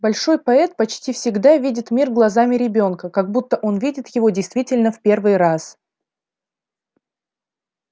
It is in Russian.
большой поэт почти всегда видит мир глазами ребёнка как будто он видит его действительно в первый раз